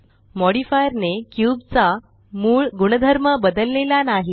modifierने cube चा मूळ गुणधर्म बदललेला नाही